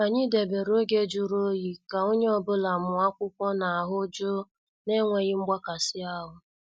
Anyị debere oge jụrụ oyi ka onye ọ bụla mụọ akwụkwọ n' ahụ jụụ na enweghị mgbakasi ahụ.